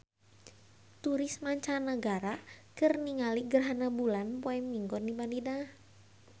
Turis mancanagara keur ningali gerhana bulan poe Minggon di Madinah